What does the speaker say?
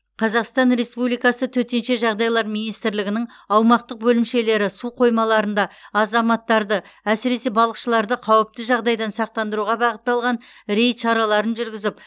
қазақстан республикасы төтенше жағдайлар министрлігінің аумақтық бөлімшелері су қоймаларында азаматтарды әсіресе балықшыларды қауіпті жағдайдан сақтандыруға бағытталған рейд шараларын жүргізіп